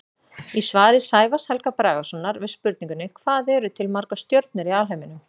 Í svari Sævars Helga Bragasonar við spurningunni Hvað eru til margar stjörnur í alheiminum?